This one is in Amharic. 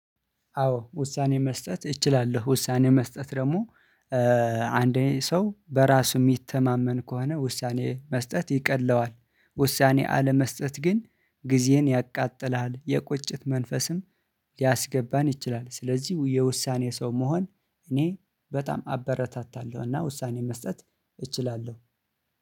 አዎ ውሳኔ መስጠት እችላለሁ ውሳኔ መስጠት ደግሞ አንዴ ሰው በራሱ የሚተማመን ከሆነ ውሳኔ መስጠት ይቀለዋል። ውሳኔ አለመስጠት ግን ጊዜን ያቃጥላል የቁጭት መንፈስም ሊያስገባን ይችላል። ስለዚህ የውሳኔ ሰው መሆን እኔ በጣም አበረታታለሁና ውሳኔ መስጠት እችላለሁ